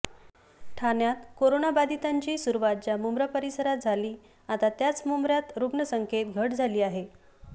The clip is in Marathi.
ठाण्यात कोरोनाबधितांची सुरुवात ज्या मुंब्रा परिसरात झाली आता त्याच मुंब्र्यात रुग्ण संख्येत घट झाली आहे